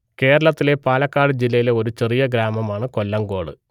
കേരളത്തിലെ പാലക്കാട് ജില്ലയിലെ ഒരു ചെറിയ ഗ്രാമമാണ് കൊല്ലങ്കോട്